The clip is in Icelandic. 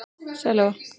Sæl Eva